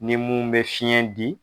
Ni mun bɛ fiɲɛ di.